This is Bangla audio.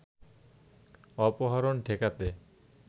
অপহরণ ঠেকাতে